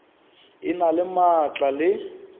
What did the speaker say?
e na le maatla le